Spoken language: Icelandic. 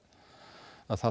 það